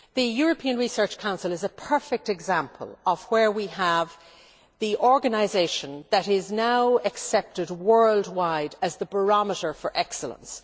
The European Research Council is a perfect example of a case in which we have the organisation that is now accepted worldwide as the barometer for excellence.